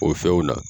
O fɛnw na